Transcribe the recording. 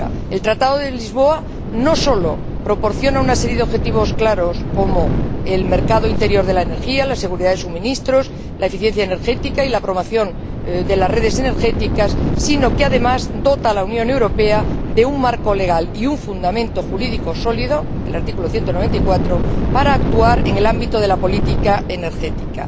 El Tratado de Lisboa no solo proporciona una serie de objetivos claros como el mercado interior de la energía, la seguridad de suministros, la eficiencia energética y la promoción de las redes energéticas, sino que, además, dota a la Unión Europea de un marco legal y un fundamento jurídico sólido el artículo 194 para actuar en el ámbito de la política energética.